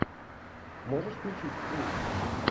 можешь включить скример